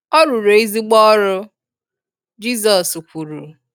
“Ọ rụrụ ezigbo ọrụ”, Jizọs kwuru